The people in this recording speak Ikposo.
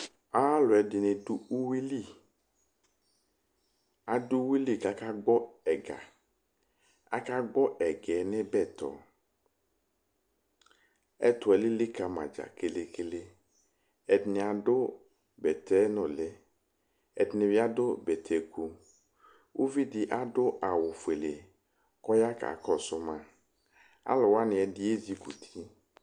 aluɛdini dʋ ʋwi li adʋ ʋwili ka aka gbɔ ɛga aka gbɔ ɛgɛɛ nʋ ibɛtɔ ɛtʋ ɛlili kama ja kɛlɛkɛlɛ ɛdini adʋ bɛtɛ nʋli ɛdini bi adʋ bɛtɛ ikʋ ʋvi di adʋ awʋ fʋɛlɛ kɔya ka kɔsʋ ma alʋ wani ɛdi ɛzikuti